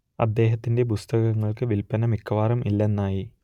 അദ്ദേഹത്തിന്റെ പുസ്തകങ്ങൾക്ക് വില്പന മിക്കവാറും ഇല്ലെന്നായി